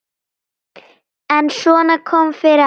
En svona kom fyrir alla.